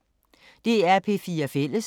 DR P4 Fælles